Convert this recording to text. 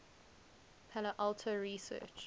palo alto research